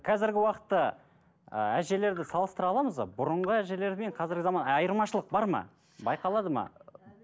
қазіргі уақытта ы әжелерді салыстыра аламыз ба бұрынғы әжелер мен қазіргі заман айырмашылық бар ма байқалады ма